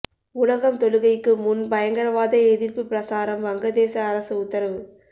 உலகம் தொழுகைக்கு முன் பயங்கரவாத எதிர்ப்பு பிரசாரம் வங்கதேச அரசு உத்தரவு